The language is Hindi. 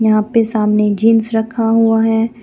यहां पे सामने जींस रखा हुआ है.